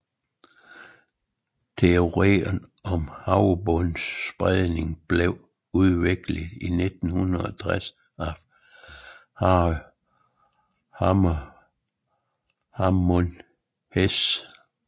Teorien om havbundsspredning blev udviklet i 1960 af Harry Hammond Hess